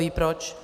Kdoví proč?